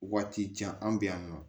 Waati jan an bɛ yan nɔ